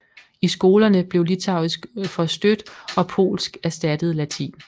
I skolerne blev litauisk forstødt og polsk erstattede latin